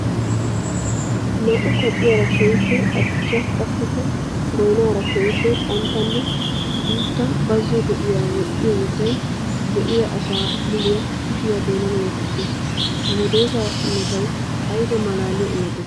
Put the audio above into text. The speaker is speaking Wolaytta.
Naa'u kacciyara keehippe adussa qassikka goynnara keehippe qanttanne guuta bazzo do'iya woxxiyo wottay be'a asa muliya kushiya doonan wotisees! Ha medosa imottay aybba malaalliya imotte!